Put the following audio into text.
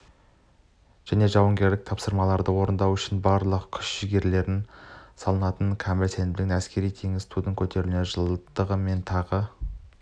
және жауынгерлік тапсырмаларды орындау үшін барлық күш-жігерлерін салатынына кәміл сенімдімін әскери-теңіз туының көтерілуінің жылдығымен тағы